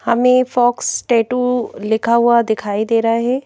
हमें fox tattoo लिखा हुआ दिखाई दे रहा है।